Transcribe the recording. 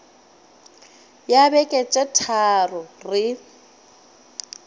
ya beke tše tharo re